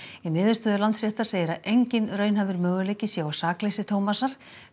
í niðurstöðu Landsréttar segir að enginn raunhæfur möguleiki sé á sakleysi Thomasar